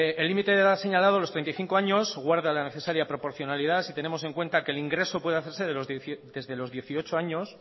el límite de edad señalado los treinta y cinco años guarda la necesaria proporcionalidad si tenemos en cuenta que el ingreso puede hacerse desde los dieciocho años